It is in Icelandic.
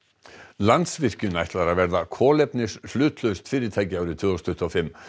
Landsvirkjun ætlar að verða kolefnishlutlaust fyrirtæki árið tvö þúsund tuttugu og fimm